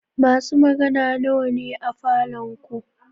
Masu magana nawa ne a falon ku?